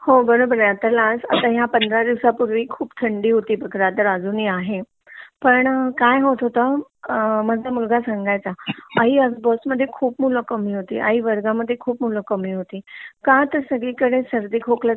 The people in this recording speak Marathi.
हो बरोबर आहे आता हे लास्ट पंधरा दिवसपूर्वी खूप थंडी होती रादर अजूनही आहे पण काय होत होता माझा मुलगा सांगायचं आई आज बस मध्ये खूप मुलं कामी होती , आई वर्गामध्ये खूप मुलं कामी होती का तर सगळी कडे सर्दी खोकल्याचे